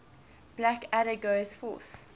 blackadder goes forth